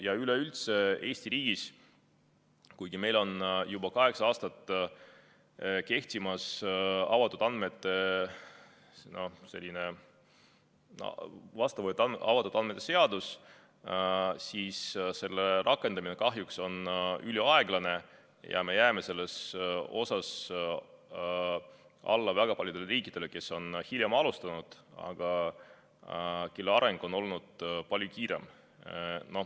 Ja üleüldse, Eesti riigis, kuigi meil on juba kaheksa aastat tagasi vastu võetud avatud andmete seadus, siis selle rakendamine kahjuks on üliaeglane ja me jääme selles alla väga paljudele riikidele, kes on hiljem alustanud, aga kelle areng on olnud palju kiirem.